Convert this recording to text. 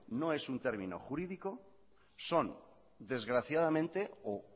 no es un término jurídico son desgraciadamente o